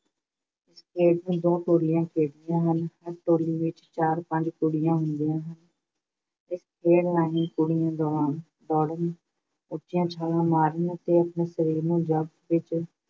ਇਸ ਖੇਡ ਨੂੰ ਦੋ ਟੋਲੀਆਂ ਖੇਡਦੀਆਂ ਹਨ। ਹਰ ਟੋਲੀ ਵਿੱਚ ਚਾਰ-ਪੰਜ ਕੁੜੀਆਂ ਹੁੰਦੀਆਂ ਹਨ। ਇਸ ਖੇਡ ਰਾਹੀਂ ਕੁੜੀਆਂ ਦੌੜਨ, ਉੱਚੀਆਂ ਛਾਲਾਂ ਮਾਰਨ ਅਤੇ ਆਪਣੇ ਸਰੀਰ ਨੂੰ ਜ਼ਬਤ ਵਿੱਚ